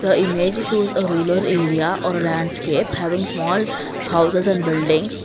the image shows a rural area or a landscape having a small houses and buildings.